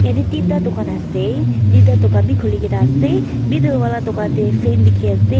Yatheh tinta dukan ase tinta dukan bhi khulikena ase middle wala tuh dukan teh fan dekhey ase.